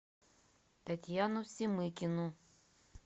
татьяну семыкину